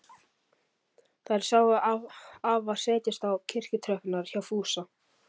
Þær sáu afa setjast á kirkjutröppurnar hjá Fúsa.